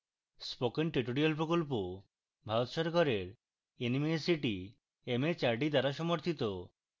spoken tutorial প্রকল্প ভারত সরকারের nmeict mhrd দ্বারা সমর্থিত